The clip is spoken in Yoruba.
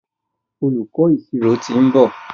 Olùkó ìṣirò t'in nbọ.